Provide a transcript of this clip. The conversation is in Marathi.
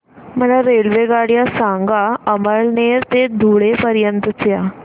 मला रेल्वेगाड्या सांगा अमळनेर ते धुळे पर्यंतच्या